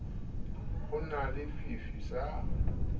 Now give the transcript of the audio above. ho na le fifi sa